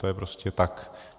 To je prostě tak.